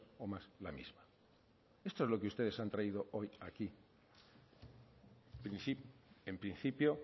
o más la misma esto es lo que ustedes han traído hoy aquí en principio